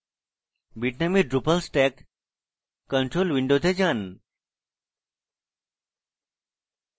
bitnami drupal stack control উইন্ডোতে যান